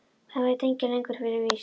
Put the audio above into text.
Það veit enginn lengur fyrir víst.